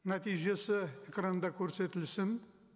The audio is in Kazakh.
нәтижесі экранда көрсетілсін